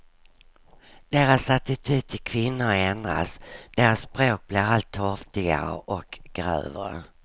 Deras attityd till kvinnor ändras, deras språk blir allt torftigare och grövre.